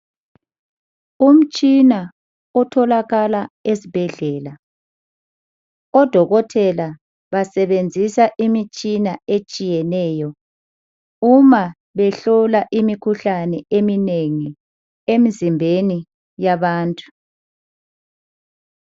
Umtshina otholakala esibhedlela, odokotela basebenzisa imitshina etshiyeneyo uma behlola imikhuhlane eminengi emizimbeni yabantu.